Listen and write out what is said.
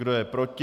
Kdo je proti?